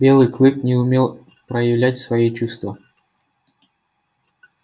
белый клык не умел проявлять свои чувства